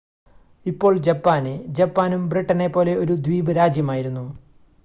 ഇപ്പോൾ ജപ്പാന് ജപ്പാനും ബ്രിട്ടനെ പോലെ ഒരു ദ്വീപ് രാജ്യമായിരുന്നു